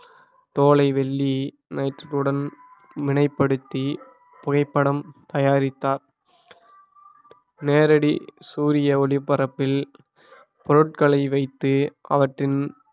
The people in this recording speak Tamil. தோலை வெள்ளி னைட்ரேட் உடன் வினைப்படுத்தி புகைப்படம் தயாரித்தார் நேரடி சூரிய ஒளி பரப்பில் பொருட்களை வைத்து அவற்றின்